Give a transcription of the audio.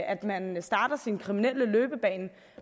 at man starter sin kriminelle løbebane